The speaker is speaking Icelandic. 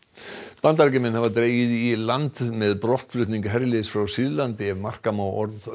Bandaríkjamenn hafa dregið í land með brotthvarf herliðs frá Sýrlandi ef marka má orð